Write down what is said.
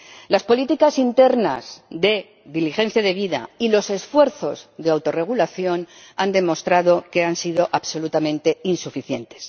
Las políticas internas de diligencia debida y los esfuerzos de autorregulación han demostrado que han sido absolutamente insuficientes.